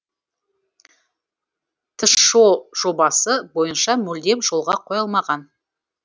тшо жобасы бойынша мүлдем жолға қойылмаған